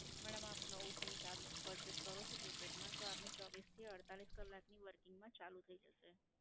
madam આપ નવું SIM ચાલુ purchase કરો છો prepaid માં તો આપને ચોવીસ થી અડતાલીસ કલાક ની working માં ચાલુ થઈ જશે.